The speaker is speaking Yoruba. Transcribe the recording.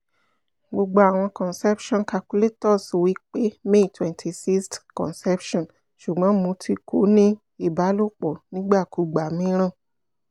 gbogbo awọn conception calculators wipe may twent sixth conception sugbon mo ti ko ni ibalopo nigbakugba miiran